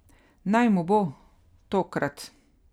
Naj mu bo, tokrat.